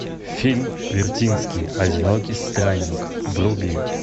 фильм вертинский одинокий странник вруби